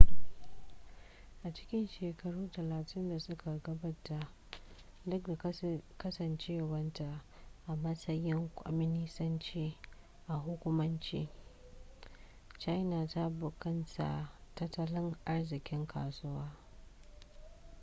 a cikin shekaru talatin da suka gabata duk da kasancewarta a matsayin kwaminisanci a hukumance china ta bunkasa tattalin arzikin kasuwa